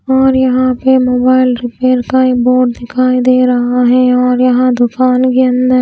और यहां पे मोबाइल रिपेयर का एक बोर्ड दिखाई दे रहा है और यहां दुकान के अंदर--